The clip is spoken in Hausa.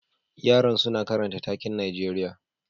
Yaran suna karanta taken Najeriya